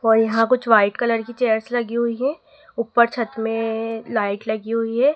और यहां कुछ व्हाइट कलर की चेयर्स लगी हुई है ऊपर छत में लाइट लगी हुईं हैं।